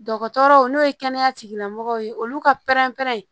Dɔgɔtɔrɔw n'o ye kɛnɛya tigilamɔgɔw ye olu ka pɛrɛn-pɛrɛn